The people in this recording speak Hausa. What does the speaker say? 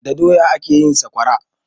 Da doya ake yin saƙwara